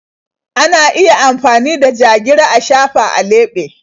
Ana iya amfani da ja-gira a shafa a leɓe.